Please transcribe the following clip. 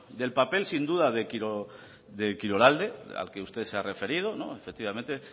del papel sin duda de kirolalde al que usted se ha referido efectivamente